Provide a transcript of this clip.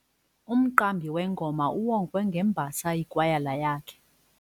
Umqambi wengoma uwongwe ngembasa yikwayala yakhe.